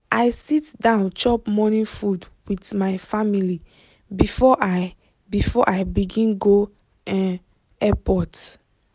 i sit down chop morning food with my family before i before i begin go um airport